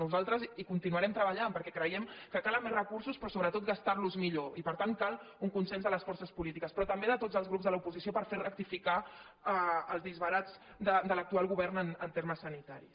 nosaltres hi continuarem treballant perquè creiem que calen més recursos però sobretot gastar·los millor i per tant cal un consens de les for·ces polítiques però també de tots els grup de l’oposi·ció per fer rectificar els disbarats de l’actual govern en termes sanitaris